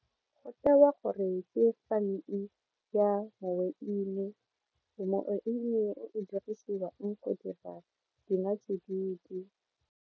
Go tewa gore ke farming ya moweine, moweine o o dirisiwang go dira dinotsididi.